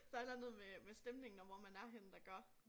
Der et eller andet med med stemningen og hvor man er henne der gør